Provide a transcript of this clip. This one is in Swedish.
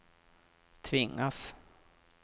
tvingas